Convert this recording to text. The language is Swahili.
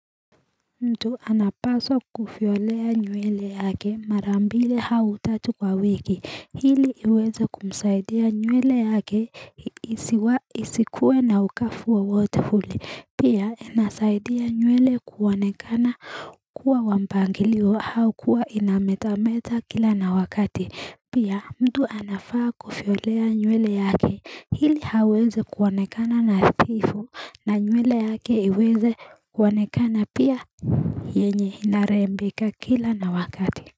Mtu anapaswa kufiolea nywele yake mara mbili au tatu kwa wiki ili iweze kumsaidia nyewele yake isikuwe na ukavu wowote ule Pia inasaidia nyewele kuonekana kuwa wa mpangilio au kuwa inametameta kila na wakati Pia mtu anafaa kufiolea nywele yake ili aweze kuonekana nadhifu na nywele yake iweze kuonekana pia yenye inarembeka kila na wakati.